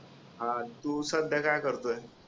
हा तु सध्या काय करतोय